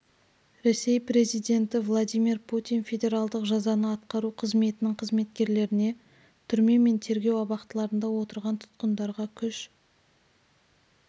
ресей президенті владимир путин федералдық жазаны атқару қызметінің қызметкерлеріне түрме мен тергеу абақтыларында отырған тұтқындарға күш